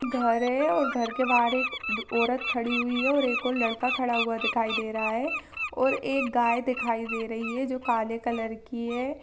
घर है और घर के बाहर एक औरत खड़ी हुई है और एक ओर लड़का खड़ा हुआ दिखाई दे रहा है और एक गाय दिखाई दे रही है जो की काले कलर की है।